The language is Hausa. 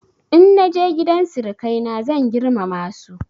In na je gidan sirikaina zan girmama su.